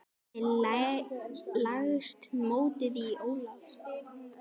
Hvernig leggst mótið í Ólaf?